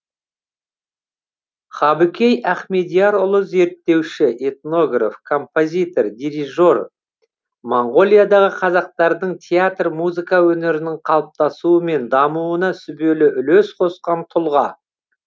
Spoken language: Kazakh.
хабыкей ахмедиярұлы зерттеуші этнограф композитор дирижер монғолиядағы қазақтардың театр музыка өнерінің қалыптасуы мен дамуына сүбелі үлес қосқан тұлға